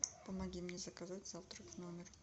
помоги мне заказать завтрак в номер